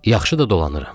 Yaxşı da dolanıram.